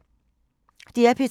DR P3